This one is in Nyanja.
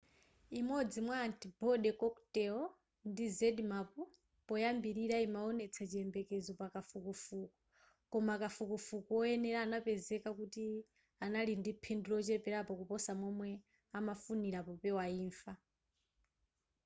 imodzi mwa antibody cocktail ndi zmapp poyambilira imawonetsa chiyembekezo pa kafukufuku koma kafukufuku woyenera anapezeka kuti anali ndi phindu locheperako kuposa momwe amafunira popewa imfa